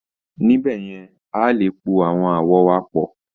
Níbẹ̀ yẹn, a lè po àwọn àwọ̀ wa pọ̀